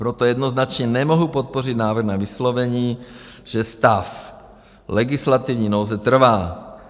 Proto jednoznačně nemohu podpořit návrh na vyslovení, že stav legislativní nouze trvá.